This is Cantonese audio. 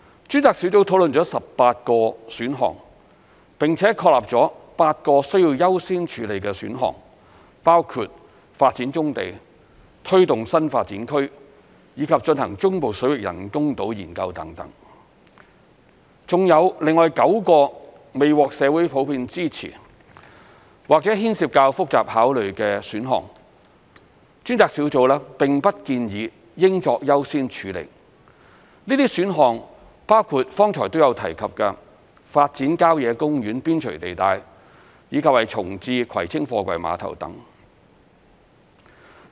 專責小組討論了18個選項，並且確立了8個需優先處理的選項，包括發展棕地、推動新發展區，以及進行中部水域人工島研究等；還有另外9個未獲社會普遍支持，或牽涉較複雜考慮的選項，專責小組並不建議應作優先處理，這些選項包括剛才亦有提及的發展郊野公園邊陲地帶，以及重置葵青貨櫃碼頭等。